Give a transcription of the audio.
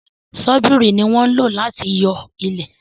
Ṣọ́bìrì ní wọn lò láti yo ilẹ